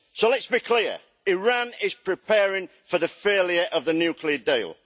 So let's be clear Iran is preparing for the failure of the nuclear deal.